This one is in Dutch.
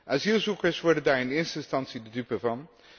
Asielzoekers worden daar in eerste instantie de dupe van.